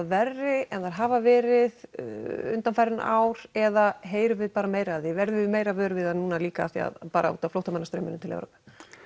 verri en þær hafa verið undanfarin ár eða heyrum við bara meira af því verðum meira vör við það núna líka bara útaf flóttamanna straumnum til Evrópu